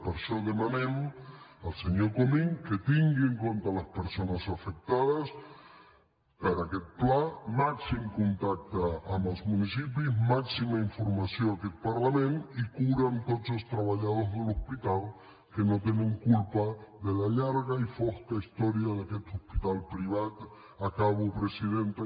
per això demanem al senyor comín que tingui en compte les persones afectades per aquest pla màxim contacte amb els municipis màxima informació a aquest parlament i cura amb tots els treballadors de l’hospital que no tenen culpa de la llarga i fosca història d’aquest hospital privat acabo presidenta